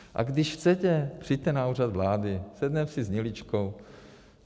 A když chcete, přijďte na Úřad vlády, sedneme si s Hniličkou.